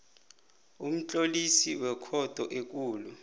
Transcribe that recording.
umtlolisi wekhotho ekulu